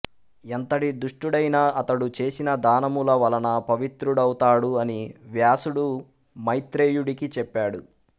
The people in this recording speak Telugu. ఎంతటి దుష్టుడైనా అతడు చేసిన దానముల వలన పవిత్రుడౌతాడు అని వ్యాసుడు మైత్రేయుడికి చెప్పాడు